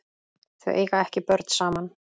Þau eiga ekki börn saman.